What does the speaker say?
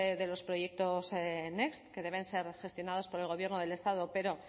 de los proyectos next que deben ser gestionados por el gobierno del estado pero